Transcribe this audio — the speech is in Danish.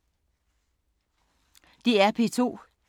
DR P2